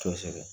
Kosɛbɛ